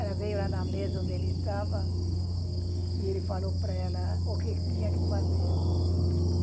Ela veio lá na mesa onde ele estava e ele falou para ela o quê que tinha que fazer.